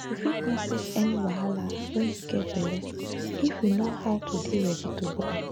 u fit no face any wahala when you get belle if you know how to de ready to born